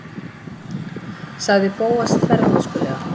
sagði Bóas þvermóðskulega.